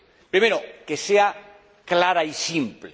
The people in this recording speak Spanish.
Primero, que sea clara y simple.